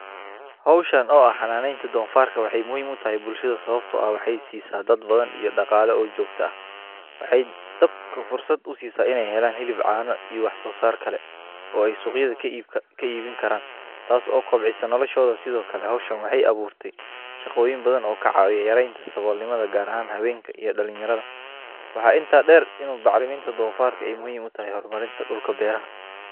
Hoshan oo ah xananeta donfarka waxee muhiim utahay bulshaada sawabto ah waxee si sa dad badan iyo daqala jogto ah tas oo kobcisa noloshoda in badan oo ka cawisa sawol nimada gar ahan dalin yaradha waxaa inta deer in bacriminta donfarka muhiim u tahay hormarinta dulka beeraha.